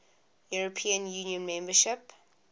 european union membership